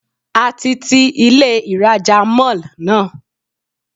A ti ti Ilé ìrajà Mall náà.